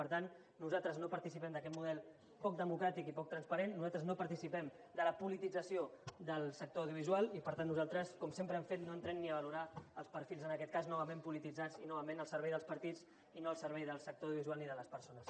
per tant nosaltres no participem d’aquest model poc democràtic i poc transparent nosaltres no participem de la politització del sector audiovisual i per tant nosaltres com sempre hem fet no entrem ni a valorar els perfils en aquest cas novament polititzats i novament al servei dels partits i no al servei del sector audiovisual ni de les persones